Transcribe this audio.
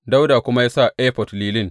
Dawuda kuma ya sa efod lilin.